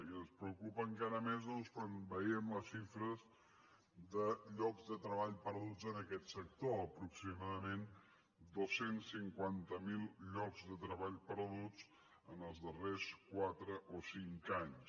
i ens preocupa encara més doncs quan veiem les xifres de llocs de treball perduts en aquest sector aproximadament dos cents i cinquanta miler llocs de treball perduts en els darrers quatre o cinc anys